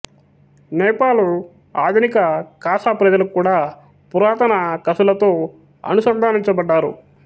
నేపాలు ఆధునిక ఖాసా ప్రజలు కూడా పురాతన ఖశులతో అనుసంధానించబడ్డారు